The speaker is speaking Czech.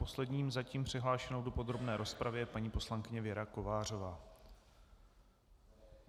Poslední zatím přihlášenou v podrobné rozpravě je paní poslankyně Věra Kovářová.